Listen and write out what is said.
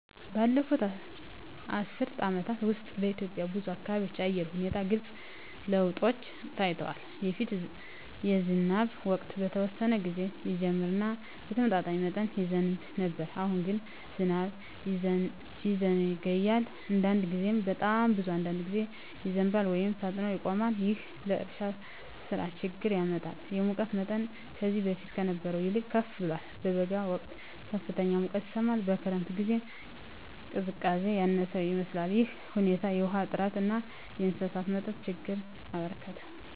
ባለፉት አስርት ዓመታት ውስጥ በኢትዮጵያ ብዙ አካባቢዎች የአየር ሁኔታ ግልጽ ለውጦች ታይተዋል። በፊት የዝናብ ወቅት በተወሰነ ጊዜ ይጀምር እና በተመጣጣኝ መጠን ይዘንብ ነበር። አሁን ግን ዝናብ ይዘገያል፣ አንዳንድ ጊዜም በጣም ብዙ በአንድ ጊዜ ይዘንባል ወይም ፈጥኖ ይቆማል። ይህም ለእርሻ ሥራ ችግኝ ያመጣል። የሙቀት መጠንም ከዚህ በፊት ከነበረው ይልቅ ከፍ ብሏል። በበጋ ወቅት ከፍተኛ ሙቀት ይሰማል፣ በክረምት ጊዜም ቀዝቃዛነት ያነሰ ይመስላል። ይህ ሁኔታ የውሃ እጥረትን እና የእንስሳት መጠጥ ችግኝን አበረከተ።